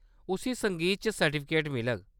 उस्सी संगीत च सर्टिफिकेट मिलग।